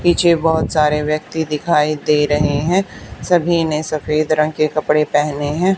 पीछे बहोत सारे व्यक्ती दिखाई दे रहे हैं सभी ने सफेद रंग के कपड़े पेहने हैं।